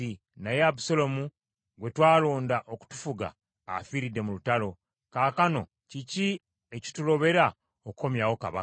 Naye Abusaalomu gwe twalonda okutufuga afiiridde mu lutalo. Kaakano kiki ekitulobera okukomyawo kabaka?”